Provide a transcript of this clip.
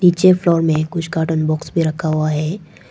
नीचे फ्लोर कुछ cartoon box में रखा हुआ है।